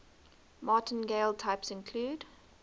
martingale types include